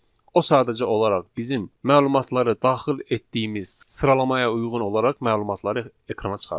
O sadəcə olaraq bizim məlumatları daxil etdiyimiz sıralamaya uyğun olaraq məlumatları ekrana çıxardır.